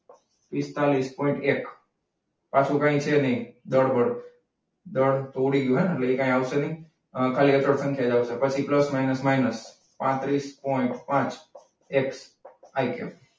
પિસ્તાળીસ પોઈન્ટ એક. પાછું કઈ છે એને દળ બળ. દળ તો ઉડી ગયું એટલે કંઈ આવશે નહીં. પછી પ્લસ માઇનસ માઇનસ પાત્રીસ પોઇન્ટ પાંચ